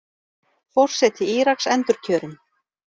Forseti Íraks endurkjörinn